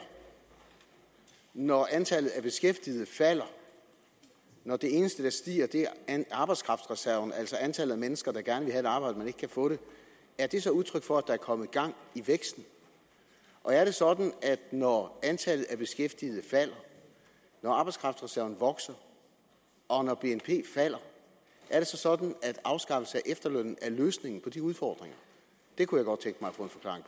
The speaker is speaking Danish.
når antallet af beskæftigede falder og når det eneste der stiger er arbejdskraftreserven altså antallet af mennesker der gerne et arbejde men ikke kan få det er det så udtryk for at kommet gang i væksten og når antallet af beskæftigede falder når arbejdskraftreserven vokser og når bnp falder er det så sådan at afskaffelse af efterlønnen er løsningen på de udfordringer det kunne